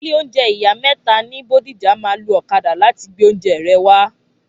ilé oúnjẹ ìyá méta ní Bódìjà ma lo ọ̀kadà láti gbé oúnjẹ rẹ wá